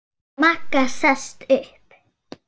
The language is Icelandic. Magga sest upp.